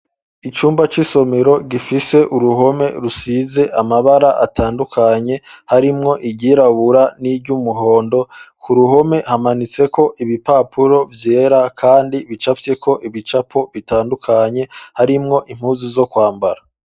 Icumba c'isomero gifise uruhome rusize amabara atandukanye ,harimwo iryirabura n'iry'umuhondo ,ku ruhome hamanitseko ibipapuro vyera kandi bicapfyeko ibicapo bitandukanye, harimwo impuzu zo kwambara.